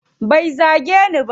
Bai zage ni ba.